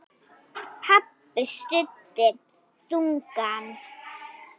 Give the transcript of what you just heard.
Pabbi stundi þungan.